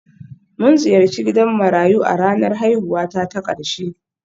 Mun ziyarci gidan marayu a ranar haihuwata ta ƙarshe